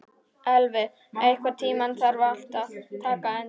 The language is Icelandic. Elvi, einhvern tímann þarf allt að taka enda.